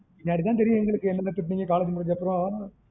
பின்னாடி தான் தெரியும் எங்களுக்கு என்னன்ன திட்டிங்க college முடிஞ்ச அப்புறம்